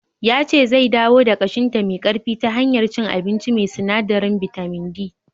Ya ce zai dawo da ƙashinta me ƙarfi ta hanyar cin abinci mai sinadarin bitamin D.